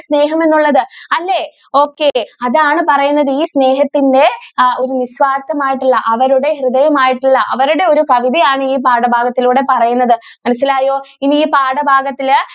സ്നേഹം എന്നുള്ളത് അല്ലെ okay അതാണ് പറയുന്നത് ഈ സ്നേഹത്തിന്റെ ഒരു നിസ്വാർഥമായിട്ടുള്ള അവരുടെ ഹൃദയം ആയിട്ടുള്ള അവരുടെ ഒരു കവിതയാണ് ഈ പാഠഭാഗത്തിലൂടെ പറയുന്നത് മനസ്സിലായോ ഇനി ഈ പാഠഭാഗത്തിൽ.